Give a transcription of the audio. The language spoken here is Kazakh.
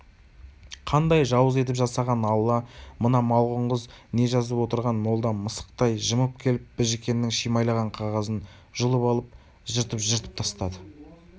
қандай жауыз етіп жасаған алла мына малғұн қыз не жазып отырған молда мысықтай жымып келіп біжікеннің шимайлаған қағазын жұлып алып жыртып-жыртып тастады